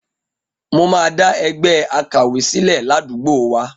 Mo máa dá ẹgbẹ́ àkàwé sílẹ̀ ládùúgbò wa.